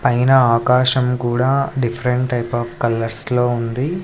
పైన ఆకాశం కూడా డిఫరెంట్ టైప్ ఆఫ్ కలర్స్ లో ఉంది.